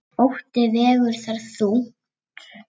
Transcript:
Ótti vegur þar þungt.